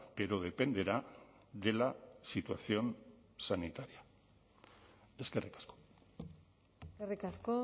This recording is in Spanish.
pero dependerá de la situación sanitaria eskerrik asko eskerrik asko